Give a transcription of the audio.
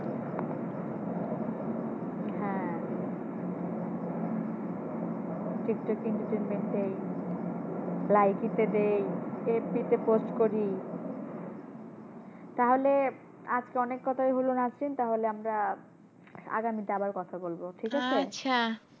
টিকটকে entertainment দিই Likee তে দিই, FB তে post করি। তাহলে আজকে অনেক কথাই হল নাহসিন তাহলে আমরা আগামীতে আবার কথা বলবো।